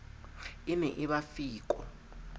e ne e ba feko